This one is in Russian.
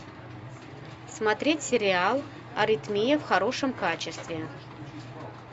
смотреть сериал аритмия в хорошем качестве